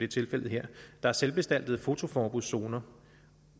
tilfældet her der er selvbestaltede fotoforbudszoner